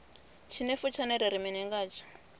tshinefu tshone ri ri mini ngatsho